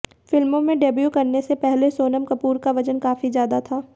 फिल्मों में डेब्यू करने से पहले सोनम कपूर का वजन काफी ज्यादा था